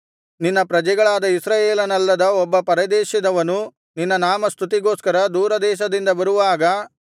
ನಿನ್ನ ಪ್ರಜೆಗಳಾದ ಇಸ್ರಾಯೇಲನಲ್ಲದ ಒಬ್ಬ ಪರದೇಶದವನು ನಿನ್ನ ನಾಮಸ್ತುತಿಗೋಸ್ಕರ ದೂರದೇಶದಿಂದ ಬರುವಾಗ